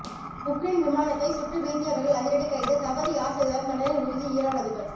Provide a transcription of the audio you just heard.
Ukraine விமானத்தை சுட்டு வீழ்த்தியவர்கள் அதிரடி கைது தவறு யார் செய்தாலும் தண்டனை உறுதி ஈரான் அதிபர்